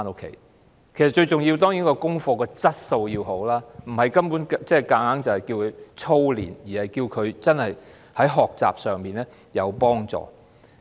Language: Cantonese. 功課最重要的當然是要有好的質素，而非要小朋友操練，應對其學習有幫助。